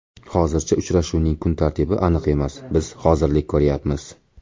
Hozircha uchrashuvning kun tartibi aniq emas, biz hozirlik ko‘ryapmiz.